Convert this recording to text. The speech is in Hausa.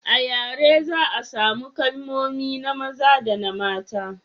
a yare za a samu kalmomi na maza da na mata